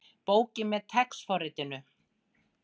Bókin með TeX forritinu.